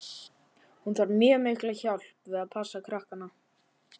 Hún þarf mjög mikla hjálp við að passa krakkana.